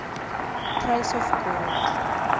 price of gold